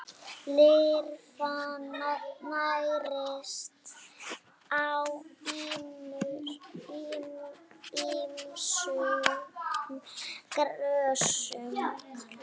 Lirfan nærist á ýmsum grösum.